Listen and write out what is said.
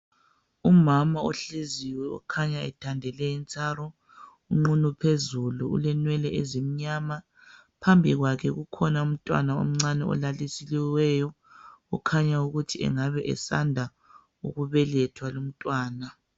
Umama ohleziyo okhanya ethandele intsaro unqunu phezulu ulenwele ezimnyama. Phambi kwakhe kukhona umntwana omncane olalisiweyo okhanyayo ukuthi engabe esanda ukubelethwa lumntwana.